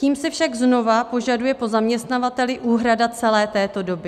Tím se však znovu požaduje po zaměstnavateli úhrada celé této doby.